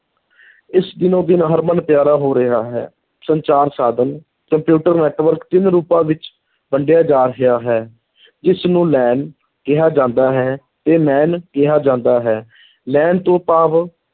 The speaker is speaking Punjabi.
ਇਸ ਦਿਨੋ ਦਿਨ ਹਰਮਨ ਪਿਆਰਾ ਹੋ ਰਿਹਾ ਹੈ, ਸੰਚਾਰ ਸਾਧਨ, ਕੰਪਿਊਟਰ network ਤਿੰਨ ਰੂਪਾਂ ਵਿੱਚ ਵੰਡਿਆ ਜਾ ਰਿਹਾ ਹੈ ਇਸਨੂੰ LAN ਕਿਹਾ ਜਾਂਦਾ ਹੈ, ਤੇ MAN ਕਿਹਾ ਜਾਂਦਾ ਹੈ LAN ਤੋਂ ਭਾਵ